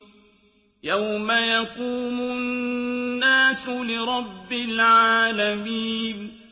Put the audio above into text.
يَوْمَ يَقُومُ النَّاسُ لِرَبِّ الْعَالَمِينَ